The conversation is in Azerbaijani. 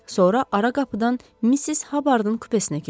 Sonra ara qapıdan Missis Habardın kupesinə keçib.